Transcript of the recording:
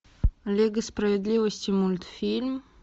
лига справедливости мультфильм